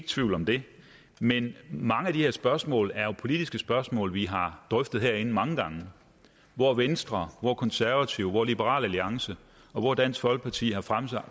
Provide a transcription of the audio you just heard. tvivl om det men mange af de her spørgsmål er jo politiske spørgsmål vi har drøftet herinde mange gange hvor venstre hvor konservative hvor liberal alliance og hvor dansk folkeparti har fremsat